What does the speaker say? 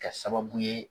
Kɛ sababu ye